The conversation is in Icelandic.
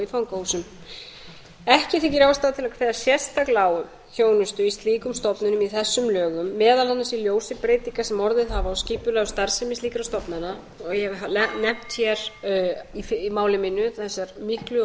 í fangahúsum ekki þykir ástæða til að kveða sérstaklega á um þjónustu í slíkum stofnunum í þessum lögum meðal annars í ljósi breytinga sem orðið hafa á skipulagðri starfsemi slíkra stofnana og ég hef nefnt í máli mínu vegna þess að þær miklu og